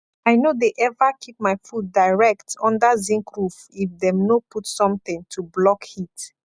i no de ever keep my food direct under zinc roof if dem no put something to block heat